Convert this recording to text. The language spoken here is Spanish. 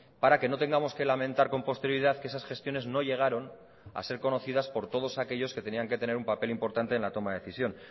para que no tengamos que lamentar con posterioridad que esas gestiones no llegaron a ser conocidas por todos aquellos que tenían que tener un papel importante en la toma de decisión